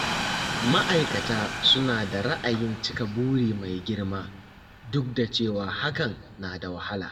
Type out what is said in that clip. Ma'aikata suna da ra'ayin cika buri mai girma, duk da cewa hakan na da wahala.